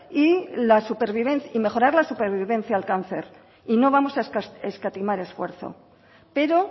y mejorar la supervivencia al cáncer y no vamos a escatimar esfuerzo pero